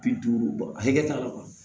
Bi duuru bɔ a hakɛ t'a yɔrɔ la